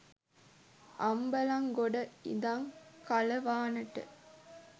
අම්බලන්ගොඩ ඉඳං කලවානට